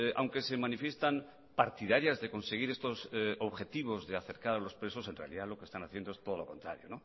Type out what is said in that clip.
aunque se manifiestan partidarias de conseguir estos objetivos de acercar a los presos en realidad lo que están haciendo es todo lo contrario